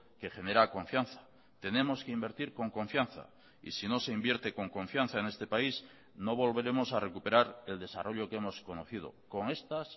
que genera confianza tenemos que invertir con confianza y si no se invierte con confianza en este país no volveremos a recuperar el desarrollo que hemos conocido con estas